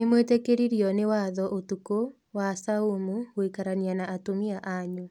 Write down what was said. Nĩ mwĩtĩkĩririo nĩ watho ũtukũ wa saumu gũikarania na atumia anyu.